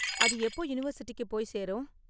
அது எப்போ யூனிவர்சிட்டிக்கு போய் சேரும்?